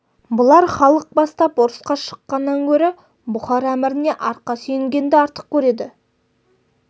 бұлар халық бастап ұрысқа шыққаннан гөрі бұхар әміріне арқа сүйенгенді артық көреді